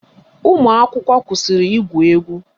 Ụmụakwụkwọ kwụsịrị igwu egwu